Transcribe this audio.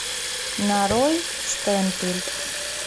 нарой штемпель